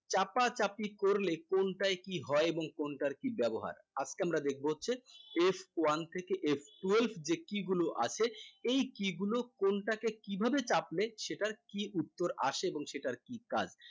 চাপাচাপি করলে কোনটায় কি হয় এবং কোনটার কি ব্যবহার আজকে আমরা দেখব হচ্ছে f one থেকে f twelve যে key গুলো আছে এই কি গুলো কোনটাকে কিভাবে চাপলে সেটার কি উত্তর আছে এবং সেটার কি কাজ